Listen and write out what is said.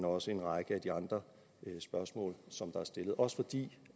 også en række af de andre spørgsmål som er stillet også fordi